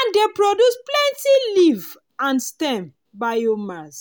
and dey produce plenty leaf and stem (biomass).